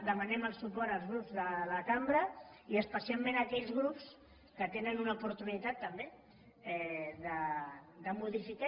demanem el suport als grups de la cambra i especialment a aquells grups que tenen una oportunitat també de modificar